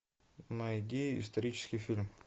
найди исторический фильм